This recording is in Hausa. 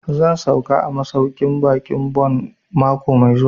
Zan sauka a masauƙin baƙin Bon mako mai zuwa